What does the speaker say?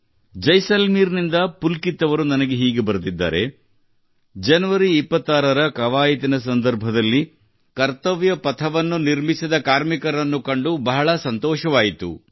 ಜೈಸಲ್ಮೇರ್ ನಿಂದ ಪುಲ್ಕಿತ್ ಅವರು ನನಗೆ ಹೀಗೆ ಬರೆದಿದ್ದಾರೆ ಜನವರಿ 26 ರ ಕವಾಯತಿನ ಸಂದರ್ಭದಲ್ಲಿ ಕಾರ್ಮಿಕರು ಕರ್ತವ್ಯ ಪಥವನ್ನು ನಿರ್ಮಿಸುತ್ತಿರುವುದನ್ನು ಕಂಡು ಬಹಳ ಸಂತೋಷವಾಯಿತು